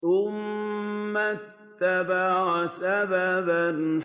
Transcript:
ثُمَّ أَتْبَعَ سَبَبًا